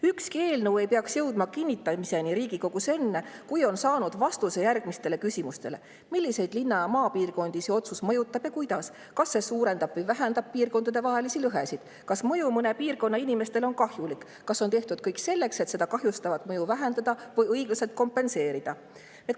Ükski eelnõu ei peaks jõudma kinnitamiseni Riigikogus enne, kui on saanud vastuse järgmistele küsimustele: milliseid linna- ja maapiirkondi see otsus mõjutab ja kuidas, kas see suurendab või vähendab piirkondadevahelisi lõhesid, kas mõju mõne piirkonna inimestele on kahjulik, kas on tehtud kõik selleks, et seda kahjustavat mõju vähendada või õiglaselt kompenseerida?